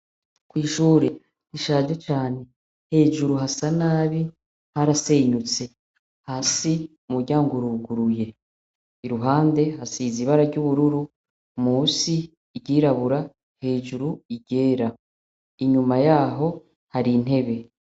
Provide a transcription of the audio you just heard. Kw'ishure rishaje cane hejuru hasa nabi harasenyutse, hasi umuryango uruguruye ,iruhande hasize ibara ry'ubururu musi iryirabura, hejuru iryera inyuma yaho har'intebe.